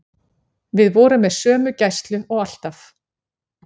Við vorum með sömu gæslu og alltaf.